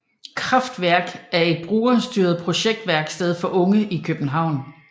KraftWerket er et brugerstyret projektværksted for unge i København